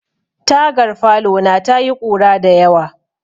Tagar falona ta yi ƙura dayawa.